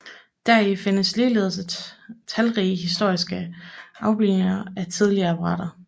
Deri findes ligeledes talrige historiske afbildninger af tidlige apparater